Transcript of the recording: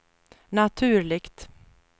naturligt